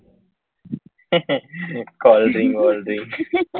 હે હે cold drink વોલ્ડીંગ